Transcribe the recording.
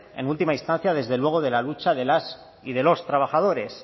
en última instancia desde luego de la lucha de las y de los trabajadores